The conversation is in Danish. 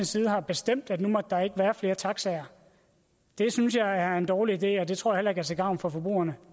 side har bestemt at nu må der ikke være flere taxaer synes jeg er en dårlig idé og det tror jeg er til gavn for forbrugerne